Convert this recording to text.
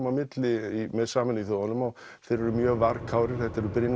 á milli með Sameinuðu þjóðanna og þeir eru mjög varkárir þetta eru